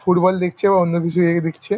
Foot বল দেখছে ও অন্য কিছু দেখছে ।